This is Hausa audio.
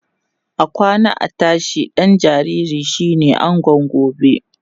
akwana a tashi ɗan jinjiri shine angon gobe